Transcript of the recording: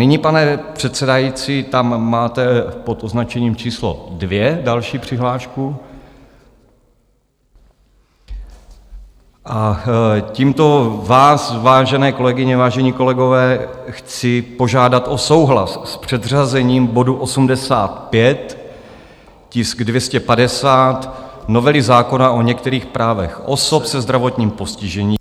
Nyní, pane předsedající, tam máte pod označením číslo 2 další přihlášku a tímto vás, vážené kolegyně, vážení kolegové, chci požádat o souhlas s předřazením bodu 85, tisk 250, novely zákona o některých právech osob se zdravotním postižením,